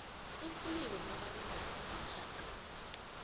isililo sabalingani emtjhadweni